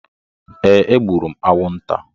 Ee, egburu m anwụnta.